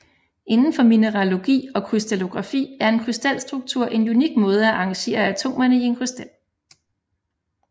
Indenfor mineralogi og krystallografi er en krystalstruktur en unik måde at arrangere atomerne i et krystal